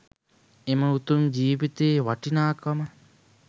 එම උතුම් ජීවිතයේ වටිනාකම